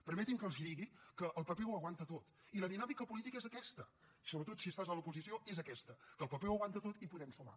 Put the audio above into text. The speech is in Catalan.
permetin que els digui que el paper ho aguanta tot i la dinàmica política és aquesta sobretot si estàs a l’oposició és aquesta que el paper ho aguanta tot i podem sumar